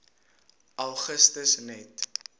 augustus net